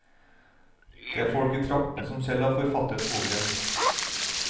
Det er folk i traktene som selv har forfattet boken.